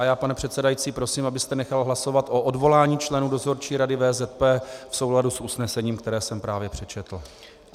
A já, pane předsedající, prosím, abyste nechal hlasovat o odvolání členů Dozorčí rady VZP v souladu s usnesením, které jsem právě přečetl.